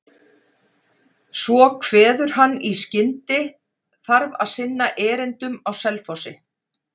Svo kveður hann í skyndi, þarf að sinna erindum á Selfossi.